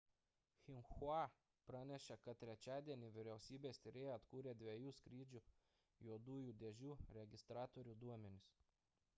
xinhua pranešė kad trečiadienį vyriausybės tyrėjai atkūrė dviejų skrydžių juodųjų dėžių registratorių duomenis